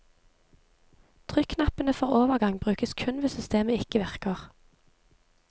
Trykknappene for overgang brukes kun hvis systemet ikke virker.